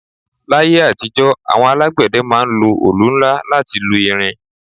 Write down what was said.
L'ayé àtijọ́, àwọn alágbẹ̀dẹ ma ń lo olù nla láti lu irin